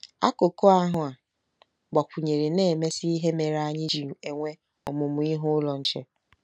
Akụkụ ahụ a gbakwụnyere na-emesi ihe mere anyị ji enwe Ọmụmụ Ihe Ụlọ Nche.